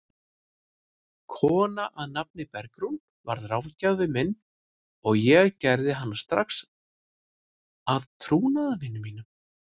Kona að nafni Bergrún varð ráðgjafinn minn og ég gerði hana strax að trúnaðarvini mínum.